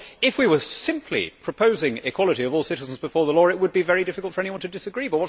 Of course, if we were simply proposing equality of all citizens before the law it would be very difficult for anyone to disagree.